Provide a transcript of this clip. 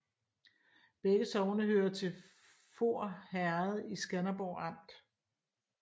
Begge sogne hørte til Voer Herred i Skanderborg Amt